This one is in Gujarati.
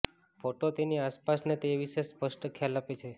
ફોટો તેની આસપાસના તે વિશે સ્પષ્ટ ખ્યાલ આપે છે